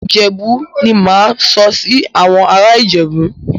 Ìjẹ́bú ni mà á máa sọ sí àwọn ará Ìjẹ̀bú.